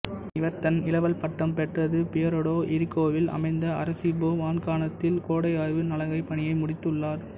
இவர் தன் இளவல் பட்டம் பெற்றது பியுயெர்டோ இரிகோவில் அமைந்த அரெசிபோ வான்காணகத்தில் கோடை ஆய்வு நலகைப் பணியை முடித்துள்ளார்